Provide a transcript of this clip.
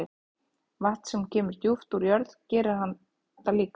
Vatn sem kemur djúpt úr jörð gerir það líka.